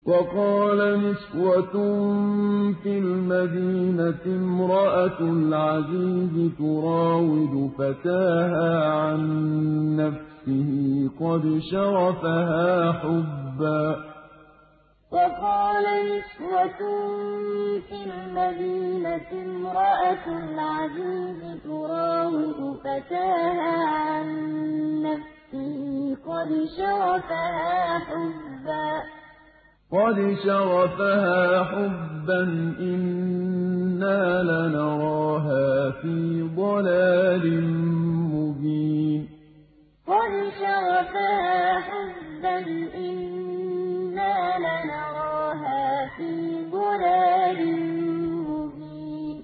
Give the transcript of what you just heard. ۞ وَقَالَ نِسْوَةٌ فِي الْمَدِينَةِ امْرَأَتُ الْعَزِيزِ تُرَاوِدُ فَتَاهَا عَن نَّفْسِهِ ۖ قَدْ شَغَفَهَا حُبًّا ۖ إِنَّا لَنَرَاهَا فِي ضَلَالٍ مُّبِينٍ ۞ وَقَالَ نِسْوَةٌ فِي الْمَدِينَةِ امْرَأَتُ الْعَزِيزِ تُرَاوِدُ فَتَاهَا عَن نَّفْسِهِ ۖ قَدْ شَغَفَهَا حُبًّا ۖ إِنَّا لَنَرَاهَا فِي ضَلَالٍ مُّبِينٍ